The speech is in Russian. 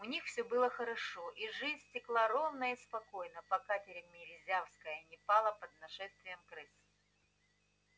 у них всё было хорошо и жизнь текла ровно и спокойно пока тимирязевская не пала под нашествием крыс